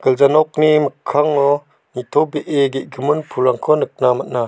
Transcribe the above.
gilja nokni mikkango nitobee ge·gimin pulrangko nikna man·a.